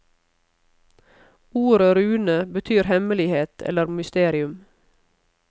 Ordet rune betyr hemmelighet eller mysterium.